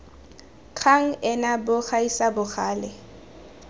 kgang ena bo gaisa bogale